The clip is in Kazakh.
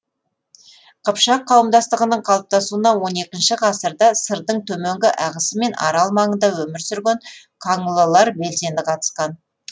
қыпшақ қауымдастығының калыптасуына он екінші ғасырда сырдың төменгі ағысы мен арал маңында өмір сүрген қаңлылар белсенді қатысқан